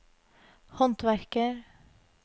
håndverker